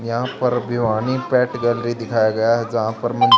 यहां पर Bhiwani pet gallery दिखाया गया जहां पर--